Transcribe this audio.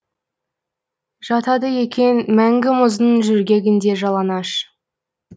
жатады екен мәңгі мұздың жөргегінде жалаңаш